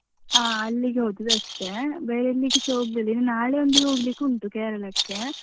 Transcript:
ಅಲ್ಲಿಗೆ ಹೋದದ್ದಷ್ಟೇ ಬೇರೆ ಎಲ್ಲಿಗೆಸ ಹೋಗ್ಲಿಲ್ಲ ಇನ್ ನಾಳೆ ಒಂದು ಹೋಗ್ಲಿಕ್ಕುಂಟು ಕೇರಳಕ್ಕೆ.